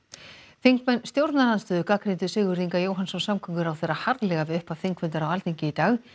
þingmenn stjórnarandstöðu gagnrýndu Sigurð Inga Jóhannsson samgönguráðherra harðlega við upphaf þingfundar á Alþingi í dag